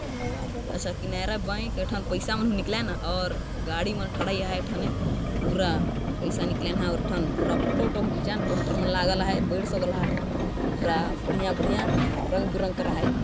ए Canara bank एठन पैसा मन हों निकलाय न और गाड़ी मन ठढाय आहे एठने पैसा निकलाय न और फोटो उटो हों खीचाएन पोस्टर मन लागल है पेड़ सब बढ़िया बड़ा बड़ा रंग बिरंग कर आहाय